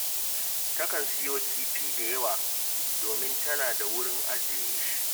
Takan siyo kifi da yawa, domin tana da wurin ajiye shi